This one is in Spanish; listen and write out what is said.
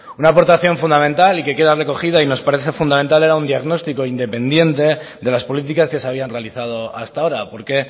una aportación fundamental y que queda recogida y que nos parece fundamental era un diagnóstico independiente de las políticas que se habían realizado hasta ahora porque